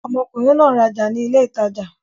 Ọmọkùnrin náà n raja ni ilé ìtajà